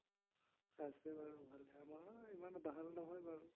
আছোঁ আৰু ভালে। আমাৰো ইমান ভাল নহয় বাৰু।